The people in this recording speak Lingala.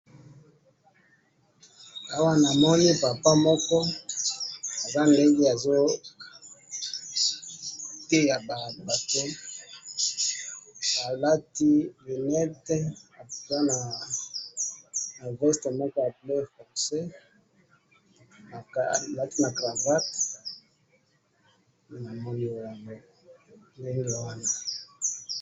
Awa namoni papa moko aza ndenge azo teya bato ,alati lunette aza na veste moko ya bleu fonce alati na cravate, namoni wana ,ndenge wana